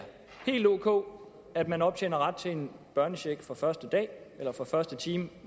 ok at man optjener ret til en børnecheck fra første dag eller fra første time